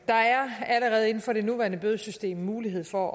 der er allerede inden for det nuværende bødesystem mulighed for